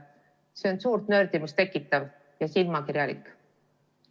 See on suurt nördimust tekitav ja silmakirjalik.